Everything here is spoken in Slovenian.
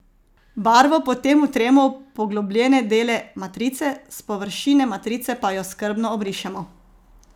Barvo potem vtremo v poglobljene dele matrice, s površine matrice pa jo skrbno obrišemo.